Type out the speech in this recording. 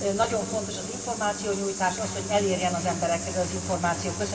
Nagyon fontos az információnyújtás, az, hogy elérjen az emberekhez az információ.